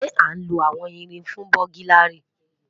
Ṣe a nlo awọn irin fun buglary?